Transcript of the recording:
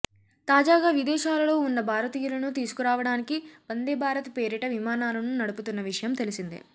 తాజాగా విదేశాలలో ఉన్న భారతీయులను తీసుకురావడానికి వందేభారత్ పేరిట విమానాలను నడుపుతున్న విషయం తెలిసిందే